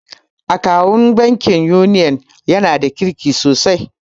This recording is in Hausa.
Akawun bankin Union ya na da kirki sosai